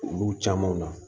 Olu caman na